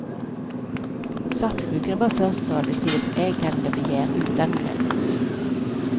Svartsjukan är bara förstadiet till ett ägandebegär utan gräns.